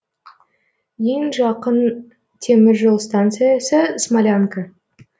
ең жақын темір жол станциясы смолянка